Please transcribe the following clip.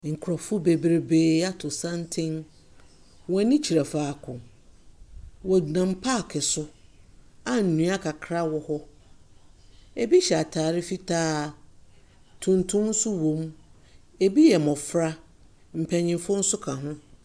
Nkurɔfoɔ bebrebee ato santen. Wɔn ani kyerɛ faako. Wɔnam paake so a nnua akakra ɔ hɔ. Ebi hyɛ atare fitaa, tuntum nso wom. Ebi yɛ mmɔfra. Mpanimfoɔ nso ka ho.